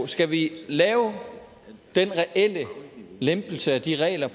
skal vi lave den reelle lempelse at de regler